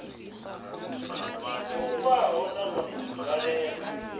i vhulungwaho na vhone nzwalelo